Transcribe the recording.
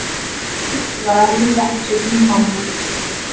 Nýtt lag með rokksveitinni Mammút